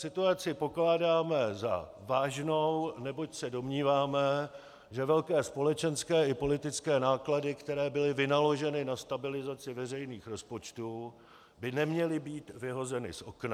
Situaci pokládáme za vážnou, neboť se domníváme, že velké společenské i politické náklady, které byly vynaloženy na stabilizaci veřejných rozpočtů, by neměly být vyhozeny z okna.